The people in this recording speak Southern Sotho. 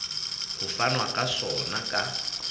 ho fanwa ka sona ka